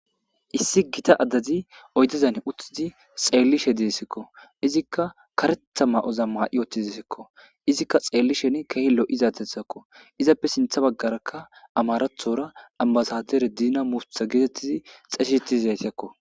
Issi gitta addazi oydezan utidi xeellishe de'essikko izikka kareththa ma'oza maa'i utidesikko izikka xeellishen ke'i lo'izatethakko izappe siinththa baggarakka amaraththora ambasadere diina mufuti geetettidi xeysetizaytakko